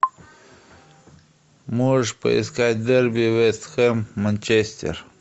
можешь поискать дерби вест хэм манчестер